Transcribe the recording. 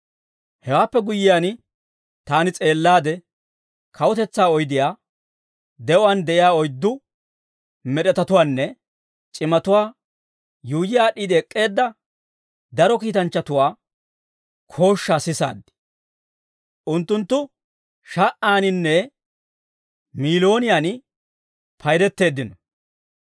Hewaappe guyyiyaan, taani s'eellaade, kawutetsaa oydiyaa, de'uwaan de'iyaa oyddu med'etatuwaanne c'imatuwaa yuuyyi aad'd'iide ek'k'eedda daro kiitanchchatuwaa kooshshaa sisaad; unttunttu sha"aaninne miilooniyan paydetteeddino.